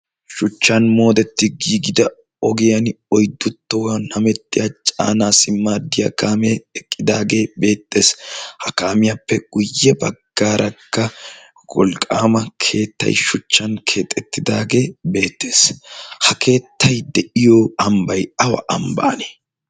shuchchan moodetti giigida ogiyan oidduttouwan hamettiya caanaa si maaddiyaa kaamee eqqidaagee beexxees ha kaamiyaappe guyye baggaarakka wolqqaama keettay shuchchan keexxettidaagee beexxees ha keettay de'iyo ambbay awa ambban